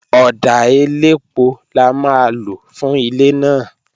Ọ̀dà elépo la máa lò fún ilé náà